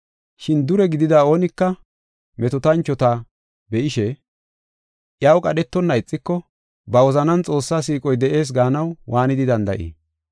Shin dure gidida oonika metootanchuwa be7ishe, iyaw qadhetonna ixiko ba wozanan Xoossaa siiqoy de7ees gaanaw waanidi danda7ii?